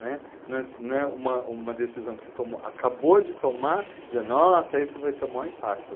Não é, não é, não é, uma uma decisão que você acabou de tomar, e você diz, nossa, isso vai ter o maior impacto.